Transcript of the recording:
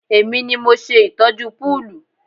Èmi ni mo ṣe ìtọ́jú púùlù